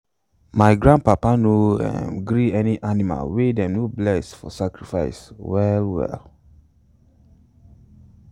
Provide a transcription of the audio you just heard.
my grandpapa no um gree any animal wey them no bless for sacrifice well um well.